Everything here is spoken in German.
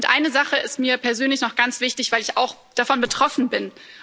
Eine Sache ist mir persönlich noch ganz wichtig, weil ich auch davon betroffen bin.